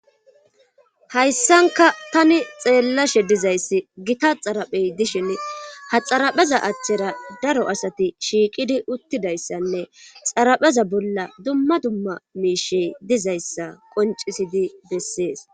Hayssanka tani xeellashe dizayssi gita xaraphey dishin haxarapheza aththera daro asati shiiqidi uttidayssanne xarapheza bolla dumma dumma miishey dizayssa qoncisidi bessees